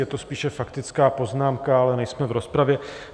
Je to spíše faktická poznámka, ale nejsme v rozpravě.